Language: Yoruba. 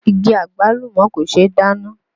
Igi Àgbálùmọ́ kò ṣe é dáná